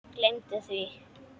Gleymdu því!